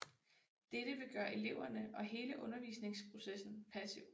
Dette vil gøre eleverne og hele undervisningsprocessen passiv